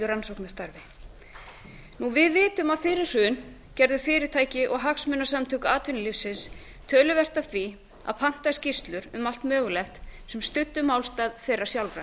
öllu rannsóknastarfi við vitum að fyrir hrun gerðu fyrirtæki og hagsmunasamtök atvinnulífsins töluvert af því að panta skýrslur um allt mögulegt sem studdu málstað þeirra sjálfra